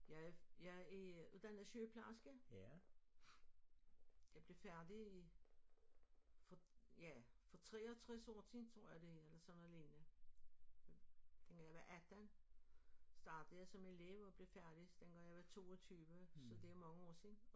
Jeg jeg er uddannet sygeplejerske jeg blev færdig for ja for 63 år tiden tror jeg det eller sådan noget lignende dengang jeg var 18 startede jeg som elev og blev færdig dengang jeg var 22 så det er mange år siden